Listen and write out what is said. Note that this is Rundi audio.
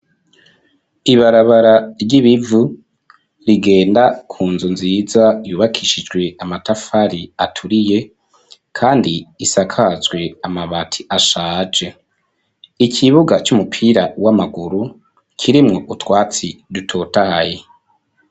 Ibarabara ry'ibivu rigenda kunzu nziza yubakishijwe amatafari aturiye kandi isakazwe amabati ashaje, ikibuga c'umupira w'amaguru kirimwo utwatsi dutotaye.